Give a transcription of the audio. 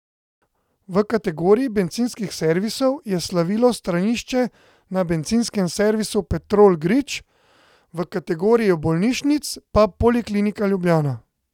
V kategoriji bencinskih servisov je slavilo stranišče na Bencinskem servisu Petrol Grič, v kategoriji bolnišnic pa Poliklinika Ljubljana.